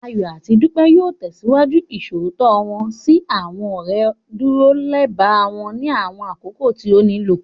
Ayọ̀ àti Dúpẹ́ yóò tẹ̀síwájú Ìṣòótọ́ wọ́n sí àwọn ọ̀rẹ́, dúró lẹba wọn ní àwọn àkókò tí ó nílò